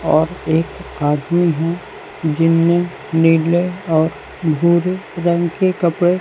और एक आदमी हैं जिनमें नीले और भूरे रंग के कपड़े--